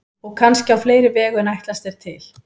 Og kannski á fleiri vegu en ætlast er til.